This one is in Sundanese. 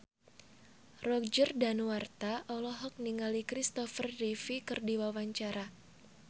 Roger Danuarta olohok ningali Christopher Reeve keur diwawancara